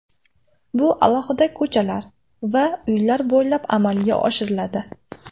Bu alohida ko‘chalar va uylar bo‘ylab amalga oshiriladi.